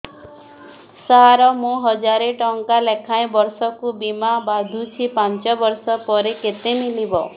ସାର ମୁଁ ହଜାରେ ଟଂକା ଲେଖାଏଁ ବର୍ଷକୁ ବୀମା ବାଂଧୁଛି ପାଞ୍ଚ ବର୍ଷ ପରେ କେତେ ମିଳିବ